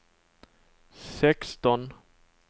sexton